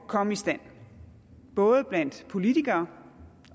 komme i stand både blandt politikere